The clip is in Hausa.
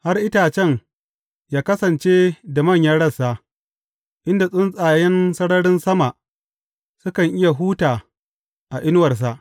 Har itacen yă kasance da manyan rassa, inda tsuntsayen sararin sama sukan iya huta a inuwarsa.